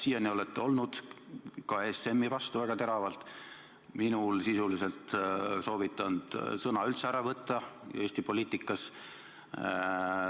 Siiani olete olnud ka ESM-i vastu väga teravalt, olete soovitanud minult sisuliselt sõna üldse ära võtta Eesti poliitikas.